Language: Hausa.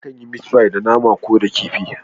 Akan yi meat pie da nama ko da kifi.